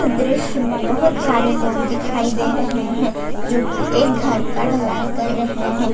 दृश्य में बहुत सारे लोग दिखाई दे रहे हैं जो की एक घर का ढलाई कर रहे हैं।